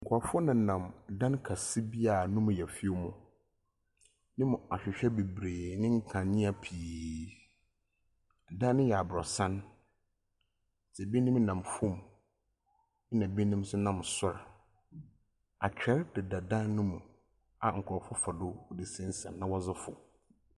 Nkurofoɔ nenam ɛdan kɛse bi a ɛmu yɛ fɛw mu ne mu nhwehwɛ ne nkanea beberee. Ɛdan no yɛ aborosan. Ebinom nam fam na ebinom nso nam soro. Atwedeɛ deda dan no mu a nkurofoɔ fa so resesane sane na wɔdze foro.